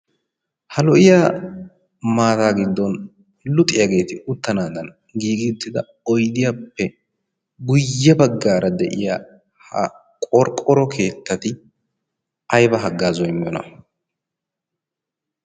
ha lo''iya maataa giddon luxiyaageeti uttanaadan giigittida oydiyaappe guyye baggaara de'iya ha qorqqoro keettati ayba haggaaza immiyona